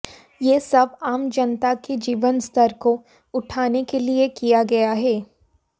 ये सब आम जनता के जीवन स्तर को उठाने के लिए किया गया है